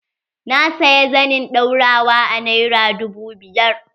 Na saya zanin ɗaurawa a nera dubu biyu.